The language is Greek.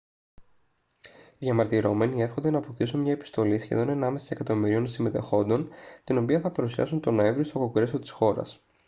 οι διαμαρτυρόμενοι εύχονται να αποκτήσουν μια επιστολή σχεδόν ενάμιση εκατομμυρίων συμμετεχόντων την οποία θα παρουσιάσουν τον νοέμβρη στο κογκρέσο της χώρας